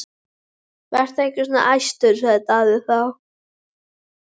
Vertu ekki svona æstur, sagði Daði þá.